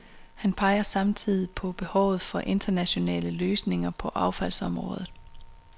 Han peger samtidig på behovet for internationale løsninger på affaldsområdet.